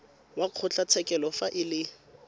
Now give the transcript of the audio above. wa kgotlatshekelo fa e le